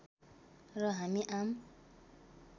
र हामी आम